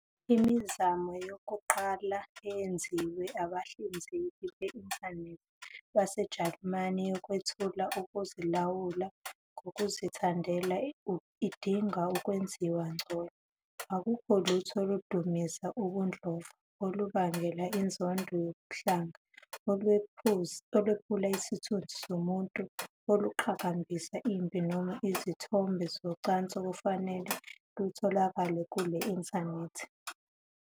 Imizamo yokuqala eyenziwe abahlinzeki be-Intanethi baseJalimane yokwethula ukuzilawula ngokuzithandela idinga ukwenziwa ngcono. Akukho lutho oludumisa ubudlova, olubangela inzondo yobuhlanga, olwephula isithunzi somuntu, oluqhakambisa impi noma izithombe zocansi okufanele lutholakale ku-inthanethi...